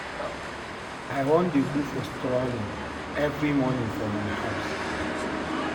I wan dey go for strolling every morning for my house